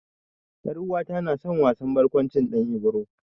Ƴar'uwata na san wasan barƙwancin Ɗan Ibro.